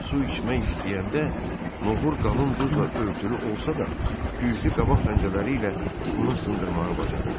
Su içmək istəyəndə, noğur qalın buzla örtülü olsa da, güclü qabaq pəncələri ilə onu sındırmağı bacarırdı.